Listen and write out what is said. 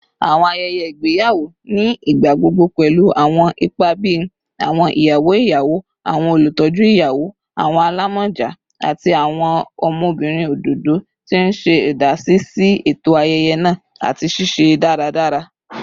Awọn ayẹyẹ igbeyawo ni igbagbogbo pẹlu awọn ipa bii awọn iyawo iyawo, awọn olutọju iyawo, awọn alamọja, ati awọn ọmọbirin ododo, ti n ṣe idasi si eto ayẹyẹ naa ati ṣiṣiṣẹ daradara.